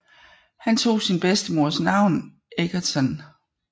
Han tog sin bedstemors navn Egerton